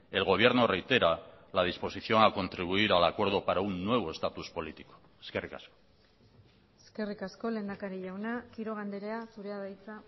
el gobierno reitera la disposición a contribuir al acuerdo para un nuevo estatus político eskerrik asko eskerrik asko lehendakari jauna quiroga andrea zurea da hitza